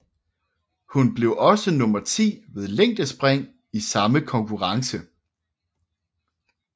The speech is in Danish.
Hun blev også nummer 10 ved længdespring i samme konkurrence